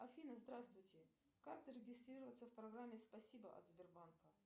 афина здравствуйте как зарегистрироваться в программе спасибо от сбербанка